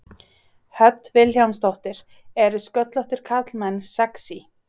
Hödd Vilhjálmsdóttir: Eru sköllóttir karlmenn sexý?